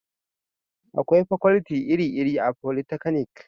akwai fakwalti iri iri a folitaknik